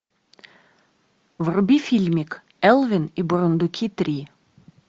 вруби фильмик элвин и бурундуки три